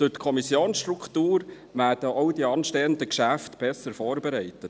Durch die Kommissionsstruktur werden auch die anstehenden Geschäfte besser vorbereitet.